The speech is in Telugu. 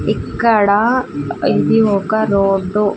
ఇక్కడ ఇది ఒక రోడ్డు .